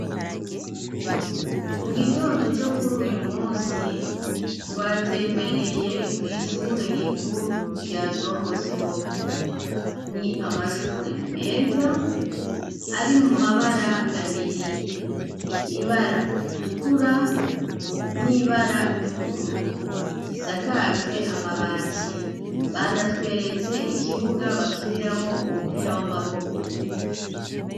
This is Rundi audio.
Mu gitondo co kuri uyu munsi twatembereye kw'ishure rikuru rya don bosko ni amashure meza ari mu mabara abiri ibara ritukura n'ibara ry'ubururu risakajwe amabati banatweretse ikibuga bakiniramo umupira w'amaboko